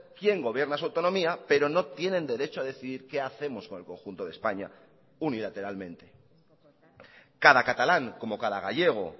quién gobierna su autonomía pero no tienen derecho a decidir qué hacemos con el conjunto de españa unilateralmente cada catalán como cada gallego